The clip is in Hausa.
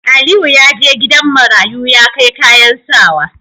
Aliyu yaje gidan marayu ya kai kayan sawa